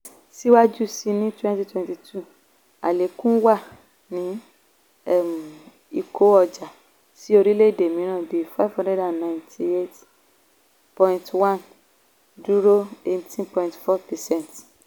síwájú sí ní twenty twenty two àlékún wà ní um ìkó ọjà um sí orílẹ̀ èdè mìíràn bí five hundred ninety eight point one dúró eighteen point four percent.